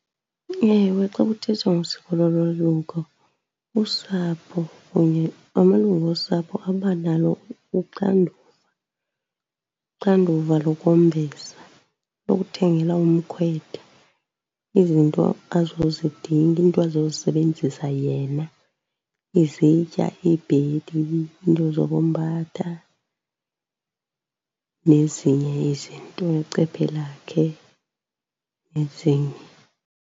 Ewe, xa kuthethwa ngosiko lolwaluko usapho kunye amalungu osapho abanalo uxanduva, uxanduva lokwembesa lokuthengela umkhwetha izinto azozidinga, iinto azozisebenzisa yena, izitya, iibhedi, iinto zokombatha, nezinye izinto necephe lakhe, nezinye.